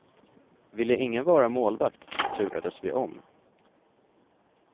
Ville ingen vara målvakt turades vi om.